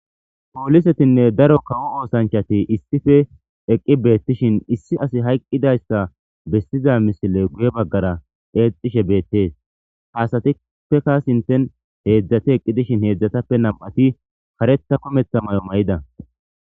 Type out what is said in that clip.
Poolisetinne daro kawo oosanchati issife eqqi beettishin issi as hayqqidayssa bessiza misile guye baggara eexishe beettees haasatipeka sinten heedzdzati eqqi dishin heedzdzatappe nam'ati karetha kumetha may'o may'ida